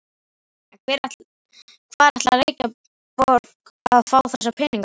En hvar ætlar Reykjavíkurborg að fá þessa peninga?